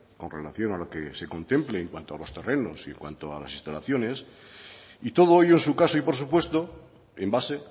con relación a lo que se contemple en cuanto a los terrenos y en cuanto a las instalaciones y todo ello en su caso y por supuesto en base